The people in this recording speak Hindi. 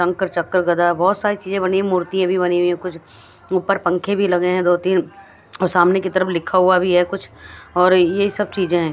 चक्कर कर रहे हैं और बहुत सारी चीजें बनी हैं मूर्तियां भी बनी हुई हैं कुछ ऊपर पंखे भी लगे हैं दो तीन और सामने की तरफ लिखा हुआ भी है कुछ और यही सब चीजें हैं।